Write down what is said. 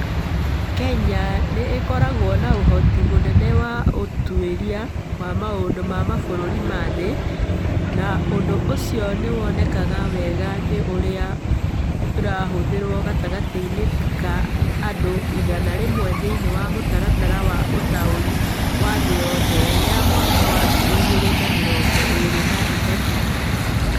Kenya nĩ ĩkoragwo na ũhoti mũnene wa ũtuĩria wa maũndũ ma mabũrũri ma thĩ, na ũndũ ũcio nĩ wonekaga wega nĩ ũrĩa ĩrathurwo gatagatĩ ga andũ igana rĩmwe thĩinĩ wa Mũtaratara wa Ũtaũri wa Thĩ Yothe ya mwaka wa ngiri igĩrĩ na mĩrongo ĩĩrĩ na ĩthatũ.